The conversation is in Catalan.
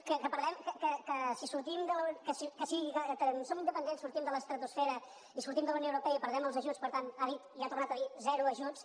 que si som independents sortim de l’estratosfera i sortim de la unió europea i perdem els ajuts per tant ha dit i ha tornat a dir zero ajuts